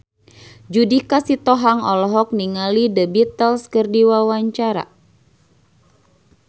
Judika Sitohang olohok ningali The Beatles keur diwawancara